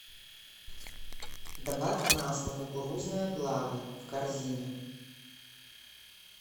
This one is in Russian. добавь масло кукурузное благо в корзину